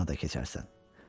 O yana da keçərsən.